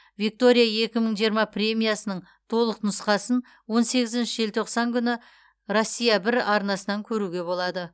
виктория екі мың жиырма премиясының толық нұсқасын он сегізінші желтоқсан күні россия бір арнасынан көруге болады